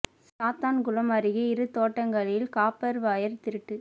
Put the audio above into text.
சாத்தான்குளம் அருகே இரு தோட்டங்களில் காப்பா் வயா் திருட்டு